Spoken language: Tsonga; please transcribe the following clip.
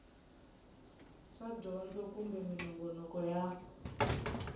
swa dyondzo kumbe minongonoko ya